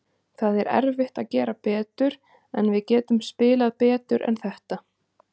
Það er erfitt að gera betur, en við getum spilað betur en þetta.